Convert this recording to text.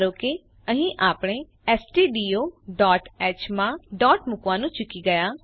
ધારો કે અહીં આપણે stdioહ માં ડોટ મુકવાનું ચૂકી ગયા